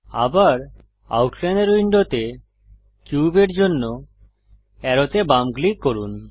আবার আউটলাইনর উইন্ডোতে কিউবের জন্য অ্যারোতে বাম ক্লিক করুন